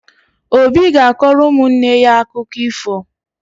Obi ga-akọrọ ụmụnne ya akụkọ ifo